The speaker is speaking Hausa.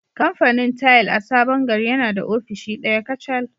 Kamfanin tile a Sabon Gari yana da ofishi ɗaya kacal